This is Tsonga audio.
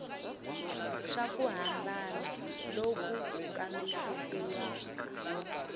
swa ku hambana loku kambisisiwaka